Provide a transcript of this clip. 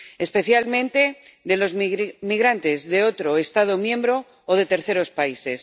especialmente de los migrantes de otro Estado miembro o de terceros países.